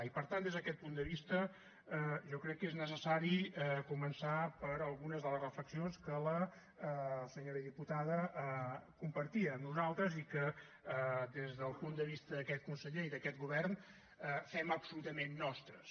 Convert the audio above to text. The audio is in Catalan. i per tant des d’aquest punt de vista jo crec que és necessari començar per algunes de les reflexions que la senyora diputada compartia amb nosaltres i que des del punt de vista d’aquest conseller i d’aquest govern fem absolutament nostres